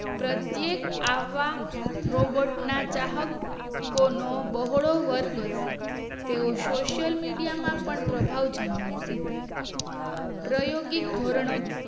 પ્રત્યેક આવા રોબોટ ના ચાહકોનો બહોળો વર્ગ હશે તેચો સોસિઅલમિડીયા માં પણ માહોલ જમાવશે પ્રાયોગિક ધોરણો